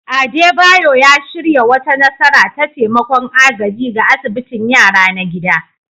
Adebayor ya shirya wata nasara ta taimakon agaji ga asibitin yara na gida